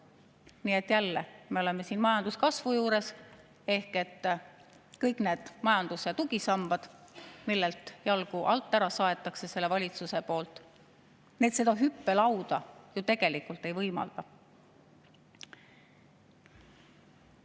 Nii et jälle oleme majanduskasvu juures, ehk kõik need majanduse tugisambad, millelt see valitsus jalgu alt ära saeb, seda hüppelauda ju tegelikult ei võimalda.